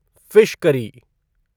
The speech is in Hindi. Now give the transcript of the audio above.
fish curry